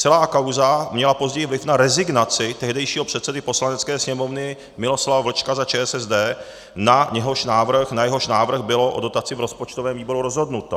Celá kauza měla později vliv na rezignaci tehdejšího předsedy Poslanecké sněmovny Miloslava Vlčka za ČSSD, na jehož návrh bylo o dotaci v rozpočtovém výboru rozhodnuto.